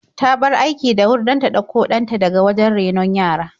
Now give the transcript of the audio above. Ta bar aiki da wuri don ta ɗauko ɗan ta daga wajen renon yara.